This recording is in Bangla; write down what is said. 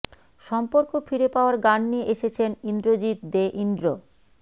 সম্পর্ক ফিরে পাওয়ার গান নিয়ে এসেছেন ইন্দ্রজিৎ দে ইন্দ্র